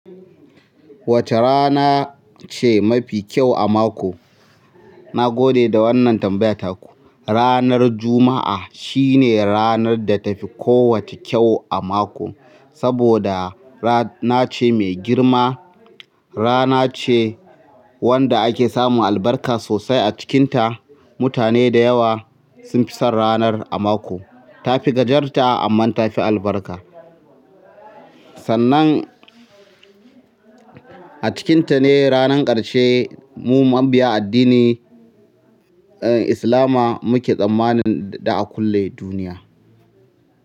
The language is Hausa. Wace rana ce mafi kyau a mako? Na gode da wannan tambaya taku. Ranar Juma'a shine ranar da tafi kowacce kyau a mako, saboda rana ce mai girma, rana ce wanda ake samun albarka sosai a cikinta. Mutane da yawa sun fi son ranar a mako. Tafi gajarta amma tafi albarka. Sannan a cikinta ne ranar ƙarshe. Mu mabiya addinin islama muke tsammanin za'a kulle duniya.